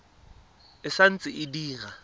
e sa ntse e dira